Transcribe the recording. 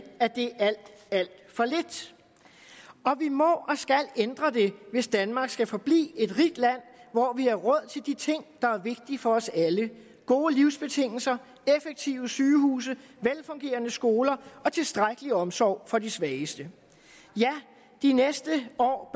at det er alt alt for lidt og vi må og skal ændre det hvis danmark skal forblive et rigt land hvor vi har råd til de ting der er vigtige for os alle gode livsbetingelser effektive sygehuse velfungerende skoler og tilstrækkelig omsorg for de svageste ja de næste år